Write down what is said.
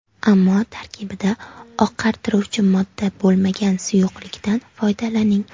Ammo tarkibida oqartiruvchi modda bo‘lmagan suyuqlikdan foydalaning.